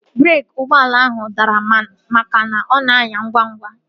Breeki ụgbọala ahu dara makana ọ na anya ngwa ngwa